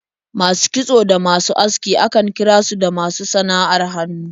Masu kitso da masu aski akan kira su da masu sana'ar hannu.